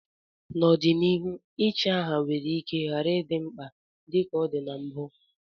N'ọdịnihu, ichi aha nwere ike ghara ịdị mkpa dị ka ọ dị na mbụ